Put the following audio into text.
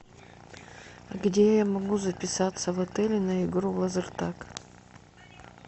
где я могу записаться в отеле на игру лазертаг